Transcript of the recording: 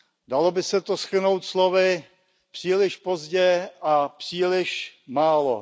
Dalo by se to shrnout slovy příliš pozdě a příliš málo.